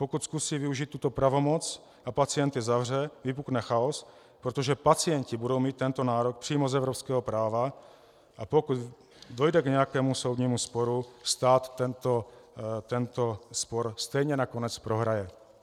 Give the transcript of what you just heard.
Pokud zkusí využít tuto pravomoc a pacienty zavře, vypukne chaos, protože pacienti budou mít tento nárok přímo z evropského práva, a pokud dojde k nějakému soudnímu sporu, stát tento spor stejně nakonec prohraje.